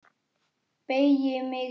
Beygi mig saman.